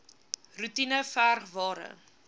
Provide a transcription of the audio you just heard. roetine verg ware